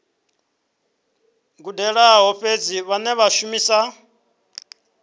gudelaho fhedzi vhane vha shumisa